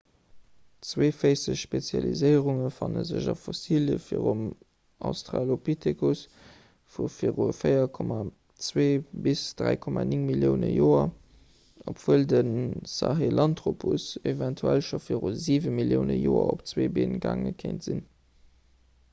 zweeféisseg spezialiséierunge fanne sech a fossilie vum australopithecus vu viru 4,2 - 3,9 millioune joer obwuel de sahelanthropus eventuell scho viru 7 millioune joer op zwee been gaange kéint sinn